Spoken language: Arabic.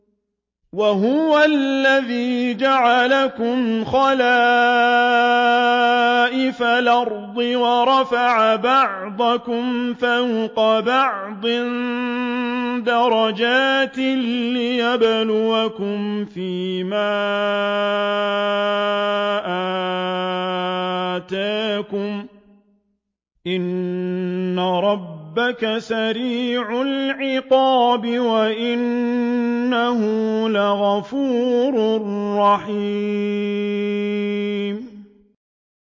وَهُوَ الَّذِي جَعَلَكُمْ خَلَائِفَ الْأَرْضِ وَرَفَعَ بَعْضَكُمْ فَوْقَ بَعْضٍ دَرَجَاتٍ لِّيَبْلُوَكُمْ فِي مَا آتَاكُمْ ۗ إِنَّ رَبَّكَ سَرِيعُ الْعِقَابِ وَإِنَّهُ لَغَفُورٌ رَّحِيمٌ